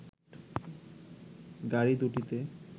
গাড়ি দু'টিতে